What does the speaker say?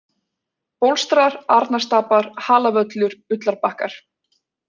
Bólstrar, Arnarstapar, Halavöllur, Ullarbakkar